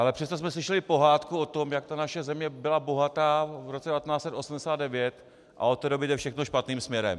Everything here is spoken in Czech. Ale přesto jsme slyšeli pohádku o tom, jak ta naše země byla bohatá v roce 1989 a od té doby jde všechno špatným směrem.